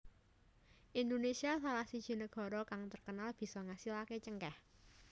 Indonesia salah siji nagara kang terkenal bisa ngasilaké cengkèh